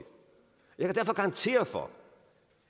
jeg garantere for